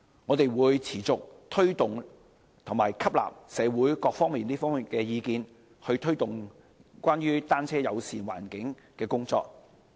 我們會持續推動和吸納社會各方面的意見，以推動單車友善環境的工作。